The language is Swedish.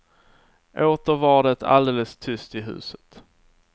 Åter var det alldeles tyst i huset.